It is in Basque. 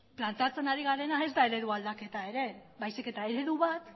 planteatzen ari garena ez da eredua aldaketa ere baizik eta eredu bat